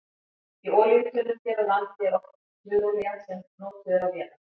Í olíutunnum hér á landi er oftast smurolía sem er notuð á vélar.